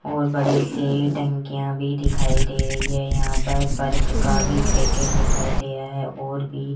और बड़े से टंकियां भी दिखाई दे रहीं हैं यहां पर पर्क का भी एक पैकेट दिखाई दे रहा है और भी --